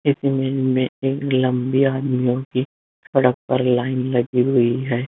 इस इमेज में एक लंबियो आदमियों की बरोबर लाइन लगी हुई है।